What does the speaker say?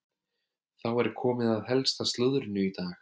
Þá er komið að helsta slúðrinu í dag.